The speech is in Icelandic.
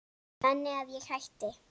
Þannig að ég hætti.